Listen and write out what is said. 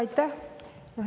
Aitäh!